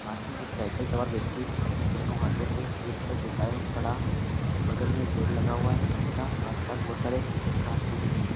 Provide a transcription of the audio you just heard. पास में एक साइकिल सवार व्यक्ति अपने दोनों हाथों को सीट पर टिकाए खड़ा है बगल में एक पेड़ लगा हुआ है तथा आस-पास बहोत सारे घास-फूस उगी है।